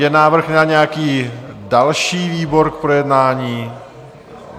Je návrh na nějaký další výbor k projednání?